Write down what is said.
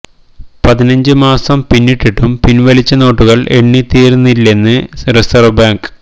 പതിനഞ്ച് മാസം പിന്നിട്ടിട്ടും പിൻവലിച്ച നോട്ടുകൾ എണ്ണി തീർന്നില്ലെന്ന് റിസർവ് ബാങ്ക്